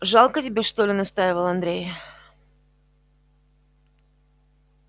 жалко тебе что ли настаивал андрей